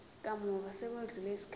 kamuva sekwedlule isikhathi